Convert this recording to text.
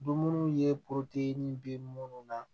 Dumuni ye bɛ minnu na